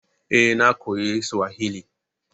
Eh, na koyi Suwahili